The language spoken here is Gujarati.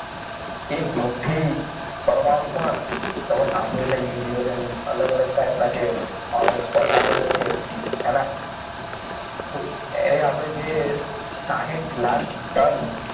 એક મુઠ્ઠી પરમાણુ પણ તમે સાંભળ્યું હશે uranium અલગ અલગ type ના જે અણુ પરમાણુ છે એના એને આપણે જે સાહીંઠ લાખ ટન